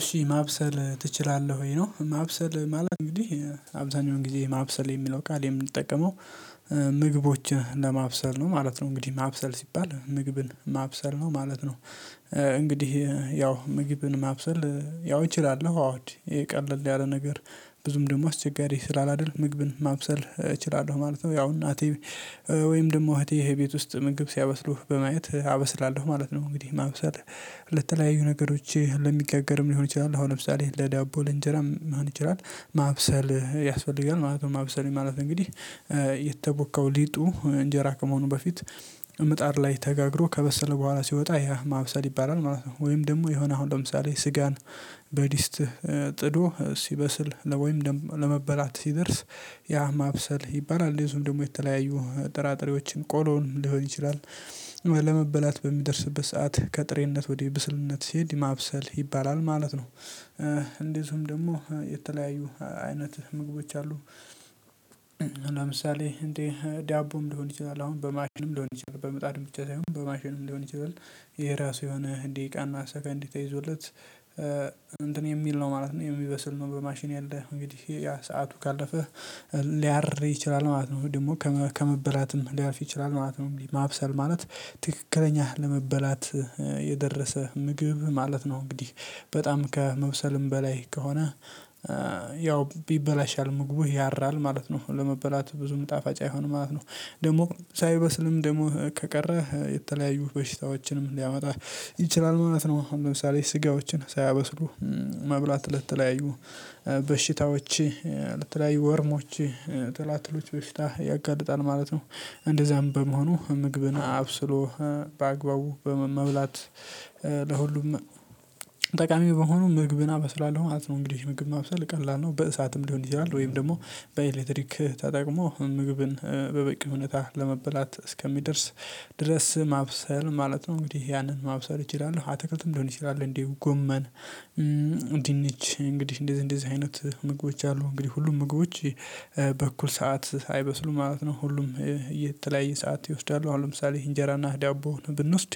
እሺ ማብሰል ትችላለህ ወይ ነው ማብሰል ማለት እንግዲህ አብዛኛውን ጊዜ ማብሰል የሚለው ቃል የምንጠቀመው ምግቦችን ለማብሰል ነው ማለት ነው። እንግዲህ ማብሰል ሲባል ምግብን ማብሰል ነው ማለት ነው እንግዲህ ያው ምግብን ማብሰል ያው እችላለሁ። አዎ ይሄ ቀልል ያለ ነገር ብዙም ደግሞ አስቸጋሪ ስላላደርግ ምግብን ማብሰል እችላለሁ ማለት ነው ያው እናቴ ወይም ደግሞ እህቴ ይሄ ቤት ውስጥ ምግብ ሲያበስሉህ በማየት አበስላለሁ ማለት ነው እንግዲህ ማብሰል ለተለያዩ ነገሮች ለሚጋገርም ሊሆን ይችላል አሁን ለምሳሌ ለዳቦ፤ ለእንጀራ ሊሆን ይችላል ማብሰል ያስፈልጋል ማለት ነው ማብሰል ማለት እንግዲህ የተቦካው ሊጡ እንጀራ ከመሆኑ በፊት ምጣድ ላይ ተጋግሮ ከበሰለ በኋላ ሲወጣ ያ ማብሰል ይባላል ማለት ነው። ወይም ደግሞ የሆነ አሁን ለምሳሌ ስጋን በድስት ጥዶ ሲበስል ለወይም ለመበላት ሲደርስ ያ ማብሰል ይባላል እንደዚሁም ደግሞ የተለያዩ ጥራጥሬዎችን ቆሎን ሊሆን ይችላል። ለመበላት በሚደርስበት ሰዓት ከጥሬነት ወደ ብስልነት ሲሄድ ማብሰል ይባላል ማለት ነው። እንደዚሁም ደግሞ የተለያዩ አይነት ምግቦች አሉ። ለምሳሌ እንዴ ዳቦም ሊሆን ይችላል አሁን በማሽንም ሊሆን ይችላል በምጣድም ብቻ ሳይሆን በማሽንም እንዲሆን ይችላል። የራሱ የሆነ ደቂቃና ሰከንድ ተይዞለት እንትን የሚል ነው ማለት ነው። የሚበስል ነው በማሽን ያለ እንግዲህ ያ ሰዓቱ ካለፈህ ሊያርፍ ይችላል ማለት ነው። ደግሞ ከመበላትም ሊያልፍ ይችላል ማለት ነው። ማብሰል ማለት ትክክለኛ ለመበላት የደረሰ ምግብ ማለት ነው እንግዲህ በጣም ከመብሰልም በላይ ከሆነ ያው ይበላሻል ምግቡ ያራል ማለት ነው። ለመበላት ብዙ ጣፋጭ አይሆንም ማለት ነው። ደግሞ ሳይበስልም ደግሞ ከቀረ የተለያዩ በሽታዎችንም ሊያመጣ ይችላል ማለት ነው። አሁን ለምሳሌ ስጋዎችን ሳያበስሩ መብላት ለትለያዩ በሽታዎች ለተለያዩ ወርሞች፤ ትላትሎች በሽታ ያጋልጣል ማለት ነው እንደዛም በመሆኑ ምግብን አብስሎ በአግባቡ በመብላት ለሁሉም ጠቃሚ በሆኑ ምግብን አበስላለሁ ማለት ነው እንግዲህ። ምግብ ማብሰል ቀላል ነው በእሳትም ሊሆን ይችላል ወይም ደግሞ በኤሌክትሪክ ተጠቅሞ ምግብን በበቂ እውነት ለመበላት እስከሚደርስ ድረስ ማብሰል ማለት ነው። እንግዲህ ያንን ማብሰል እችላለሁ፤ አትክልትም ሊሆን ይችላል እንዲሁም ጎመን፤ ድንች እንግዲህ እንደዚህ እንደዚህ አይነት ምግቦች አሉ እንግዲህ ሁሉም ምግቦች በኩል ሰዓት አይበስሉም ማለት ነው። ሁሉም የተለያየ ሰዓት ይወስዳሉ። አሁን ለምሳሌ እንጀራና ዳቦ ብንወስድ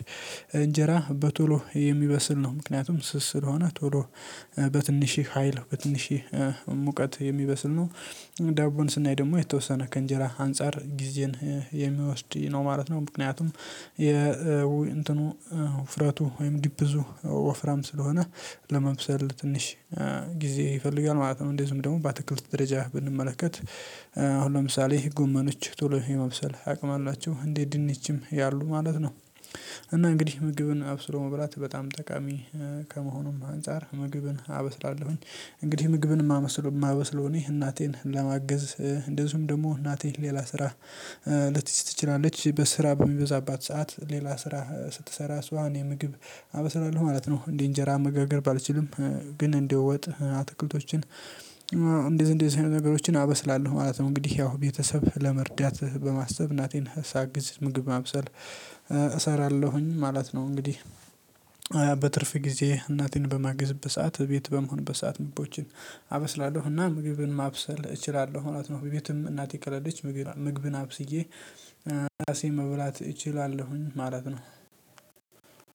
እንጀራ በቶሎ የሚበስል ነው። ምክንያቱም ስስ ስለሆነ ቶሎ በትንሽህ ሀይል በትንሽ ሙቀት የሚበስል ነው ዳቦን ስናይ ደግሞ የተወሰነ ከእንጀራ አንፃር ጊዜን የሚወስድ ነው ማለት ነው። ምክንያቱም እንትኑ ውፍረቱ ወይም ዲፕዙ ወፍራም ስለሆነ ለመብሰል ትንሽ ጊዜ ይፈልጋል ማለት ነው። እንደዚሁም ደግሞ በአትክልት ደረጃ ብንመለከት፤ አሁን ለምሳሌ ጎመኖች ቶሎ የመብሰል አቅም አላቸው እንደ ድንችም ያሉ ማለት ነው እና እንግዲህ ምግብን አብስሮ መብላት በጣም ጠቃሚ ከመሆኑም አንፃር ምግብን አበስላለሁኝ። እንግዲህ ምግብን የማበስለው እኔ እናቴን ለማገዝ እንደዚሁም ደግሞ እናቴ ሌላ ስራ ልትይዝ ትችላለች። በስራ በሚበዛባት ሰዓት ሌላ ስራ ስትሰራ እሷ እኔ ምግብ አበስላለሁ ማለት ነው እንዴ እንጀራ መጋገር ባልችልም ግን እንደ ወጥ አትክልቶችን እንደዚህ እንደዚህ አይነት ነገሮችን አበስላለሁ ማለት ነው። እንግዲህ ያው ቤተሰብ ለመርዳት በማሰብ እናቴን ሳግዝ ምግብ ማብሰል እሰራለሁኝ ማለት ነው። እንግዲህ በትርፍ ጊዜ እናቴን በማግዝበት ሰዓት ቤት በመሆንበት ምግቦችን አበስላለሁና ምግብን ማብሰል እችላለሁ። እውነት ነው በቤቱም እናቴ ከሌለች ምግብን አብስዬ ራሴን መብላት እችላለሁኝ ማለት ነው።